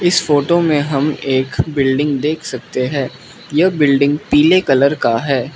इस फोटो में हम एक बिल्डिंग देख सकते हैं यह बिल्डिंग पीले कलर का है।